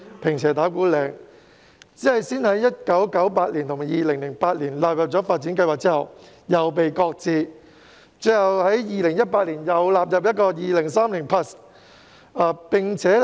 然而，雖然該區先後在1998年及2008年獲納入發展計劃，但其發展後來卻被擱置，最終在2018年再次納入《香港 2030+》。